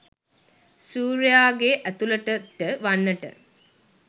සූර්යයාගේ ඇතුලතට වන්නට